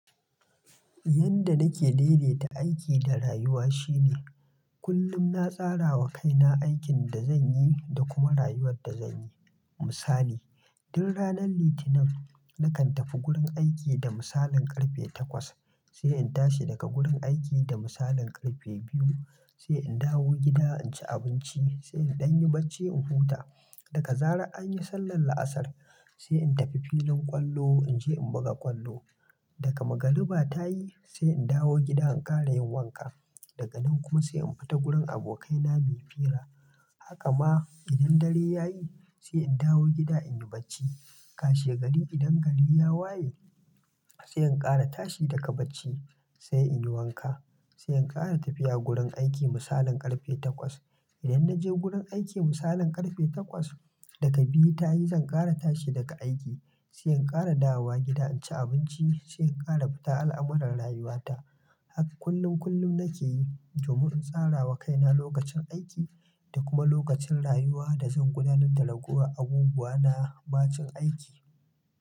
Yanda nake daidaita aiki da rayuwa shine kullum na tsarawa kaina aikin da zanyi da kuma rayuwar da zanyi. Misali, tun ranar Litinin nakan tafi gurin aiki da misalin karfe takwas, sai in tashi daga gurin aiki da misalin karfe biyu, sai in dawo gida in ci abinci, sai in ɗan yi bacci in huta. Daga zara an yi sallar la'asar, sai in tafi filin ƙwallo in je in buga ƙwallo. Daka magariba ta yi, sai in dawo gida in ƙara yin wanka. Daga nan kuma sai in fita gurin abokaina muyi fira. Haka ma idan dare ya yi, sai in dawo gida in yi bacci. Kashe gari idan gari ya waye, sai in ƙara tashi daga bacci sai in yi wanka, sai in ƙara tafiya gurin aiki misalin karfe takwas. Idan naje gurin aiki misalin karfe takwas, daga biyu ta yi zan ƙara tashi daga aiki, sai in ƙara dawowa gida in ci abinci sai in ƙara fita al'amuran rayuwata. Haka kullum kullum nake yi domin in tsarawa kaina lokacin aiki da kuma lokacin rayuwa da zan gudanar da ragowar abubuwa na bacin aiki.